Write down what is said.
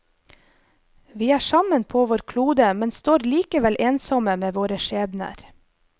Vi er sammen på vår klode, men står likevel ensomme med våre skjebner.